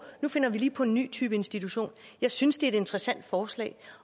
nu finder vi lige på en ny type institution jeg synes det er et interessant forslag